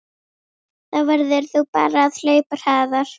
Þá verður þú bara að hlaupa hraðar